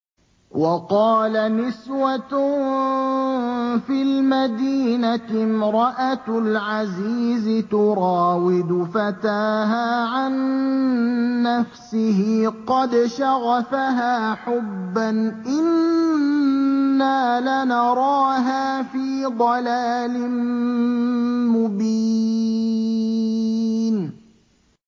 ۞ وَقَالَ نِسْوَةٌ فِي الْمَدِينَةِ امْرَأَتُ الْعَزِيزِ تُرَاوِدُ فَتَاهَا عَن نَّفْسِهِ ۖ قَدْ شَغَفَهَا حُبًّا ۖ إِنَّا لَنَرَاهَا فِي ضَلَالٍ مُّبِينٍ